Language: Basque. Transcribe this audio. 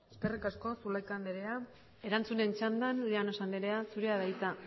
eskerrik asko zulaika andrea erantzunen txandan llanos andrea zurea da hitza